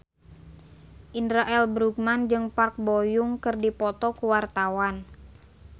Indra L. Bruggman jeung Park Bo Yung keur dipoto ku wartawan